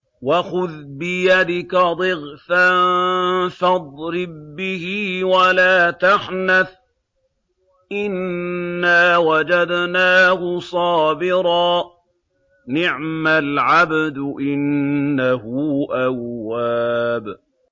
وَخُذْ بِيَدِكَ ضِغْثًا فَاضْرِب بِّهِ وَلَا تَحْنَثْ ۗ إِنَّا وَجَدْنَاهُ صَابِرًا ۚ نِّعْمَ الْعَبْدُ ۖ إِنَّهُ أَوَّابٌ